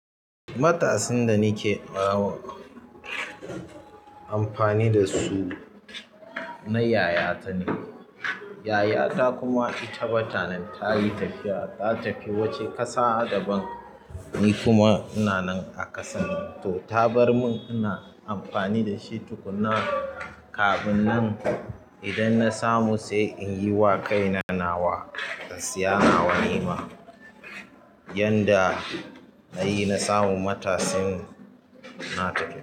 Matasin da nike amfani da su na yayata ne. Yayata kuma ita bata nan, tayi tafiya. Ta tafi wani ƙasa adaban. Ni kuma ina nan a ƙasar nan. To, ta barmun ina amfani dashi tukuna. Kafin nan idan na samu sai inyiwa kaina nawa, in siya nawa nima. Yanda nayi na samu matasin na tafi.